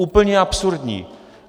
Úplně absurdní.